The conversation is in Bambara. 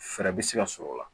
Fɛɛrɛ bɛ se ka sɔrɔ o la